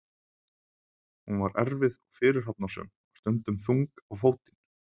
Hún var erfið og fyrirhafnarsöm og stundum þung á fótinn.